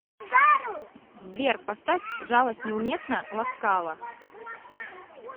сбер поставь жалость неуместна ласкала